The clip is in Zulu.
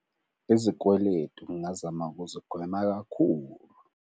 Izikweletu ngingazama ukuzigwema kakhulu.